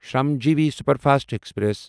Shramjeevi superfast express